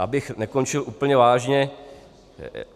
Abych nekončil úplně vážně.